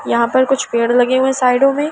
यहां पर कुछ पेड़ लगे हुए साइडों में--